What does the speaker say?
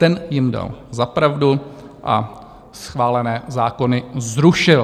Ten jim dal za pravdu a schválené zákony zrušil.